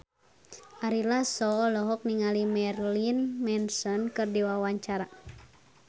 Ari Lasso olohok ningali Marilyn Manson keur diwawancara